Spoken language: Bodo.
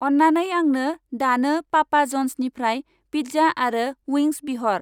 अन्नानै आंनो दानो पापा जन्सनिफ्राय फिज्जा आरो उइंन्स बिहर।